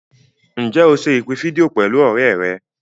Ǹjẹ́ o se ìpè fídíò pẹ̀lú ọ̀rẹ́ rẹ̀?